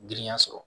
Girinya sɔrɔ